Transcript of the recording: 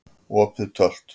Opið Tölt